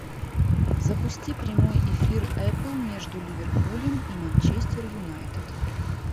запусти прямой эфир апл между ливерпулем и манчестер юнайтед